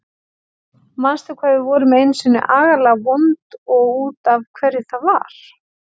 Manstu hvað við vorum einu sinni agalega vond og út af hverju það var?